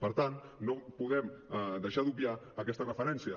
per tant no podem deixar d’obviar aquesta referència